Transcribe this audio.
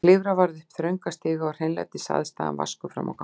Klifra varð upp þrönga stiga og hreinlætisaðstaðan vaskur frammi á gangi.